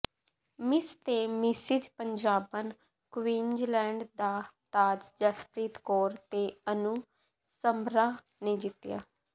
miss ਤੇ mrs ਪੰਜਾਬਣ Queensland ਦਾ ਤਾਜ ਜਸਪ੍ਰੀਤ ਕੌਰ ਤੇ ਅਨੂ ਸਮਰਾ ਨੇ ਜਿੱਤਿਆ